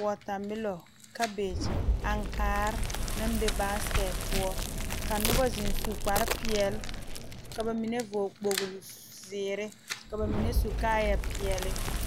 wɔtamelɔ kabege ankaare naŋ be basekɛte poɔ ka noba zeŋ su kparepeɛle ka ba mine vɔgle kpoglizeere ka ba mine su kaayɛpeɛle.